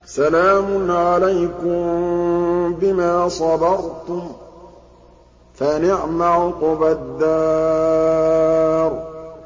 سَلَامٌ عَلَيْكُم بِمَا صَبَرْتُمْ ۚ فَنِعْمَ عُقْبَى الدَّارِ